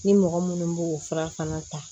Ni mɔgɔ minnu b'o fura fana ta